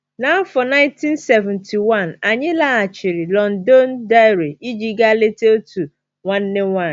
N’afọ 1971, anyị laghachiri Londonderry iji gaa leta otu nwanne nwanyị.